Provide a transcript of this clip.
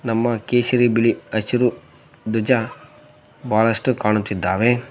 ನಮ್ಮ ಕೇಸರಿ ಬಿಳಿ ಹಸಿರು ಧ್ವಜ ಬಹಳಷ್ಟು ಕಾಣುತ್ತಿದ್ದಾವೆ.